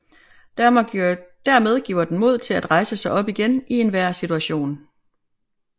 Dermed giver den mod til at rejse sig op igen i enhver situation